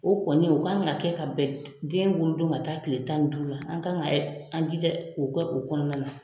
O kɔni u kan ka kɛ ka bɛn den wolo don ka taa kile tan ni duuru la an kan ka an jija o kɛ u kɔnɔna na.